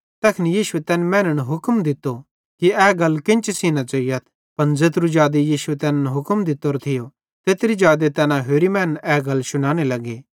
तैखन यीशुए तैन मैनन् हुक्म दित्तो कि ए गल केन्ची सेइं न ज़ोइयथ पन ज़ेत्रू जादे यीशुए तैनन् हुक्म दित्तोरो थियो तेत्रू जादे तैना होरि लोकन ए गल शुनाने लग्गे